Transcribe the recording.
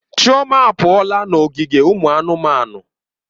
Chioma apụọla n'ogige ụmụ anụmanụ.